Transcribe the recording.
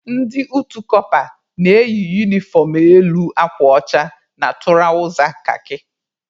Ndị utu kọpa na-eyi unifọm elu akwa ọcha na tụrawza kakị.